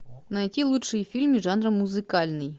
найти лучшие фильмы жанра музыкальный